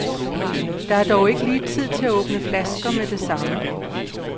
Der er dog ikke lige tid til at åbne flasker med det samme.